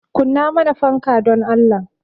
Kunna mana fanka dan Allah